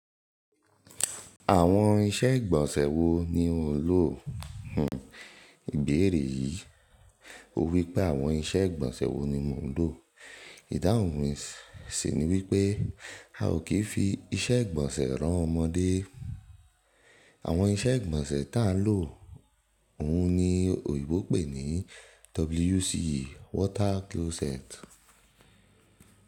Àwọn iṣẹ́ ìgbọ̀nsẹ̀ wo ni òún lò? Ìbéèrè yìí. Ó wípé àwọn iṣẹ́ ìgbọ̀nsẹ̀ wo ni mò ń lò. Ìdáhùn mi sì ni wípé a ò kí ń fi iṣẹ́ ìgbọ̀nsẹ̀ rán ọmọdé. Àwọn iṣẹ́ ìgbọ̀nsẹ̀ táà ń lò òun ni òyìnbó pè ní WC water closet.